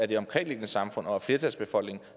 det omkringliggende samfund og af flertalsbefolkningen